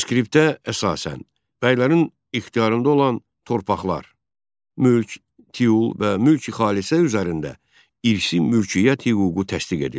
Reskriptə əsasən, bəylərin ixtiyarında olan torpaqlar, mülk, tiul və mülk-xalisə üzərində irsi mülkiyyət hüququ təsdiq edildi.